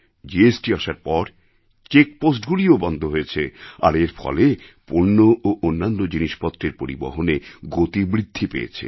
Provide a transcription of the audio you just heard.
GST আসার পর check পোস্টগুলিও বন্ধ হয়েছে আর এর ফলে পণ্য ও অন্যান্য জিনিসপত্রের পরিবহনে গতি বৃদ্ধি পেয়েছে